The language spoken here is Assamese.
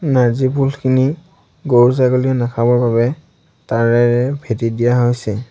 নাৰ্জী ফুলখিনি গৰু ছাগলীয়ে নাখাবৰ বাবে তাঁৰেৰে ভেটি দিয়া হৈছে।